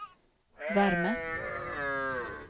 värme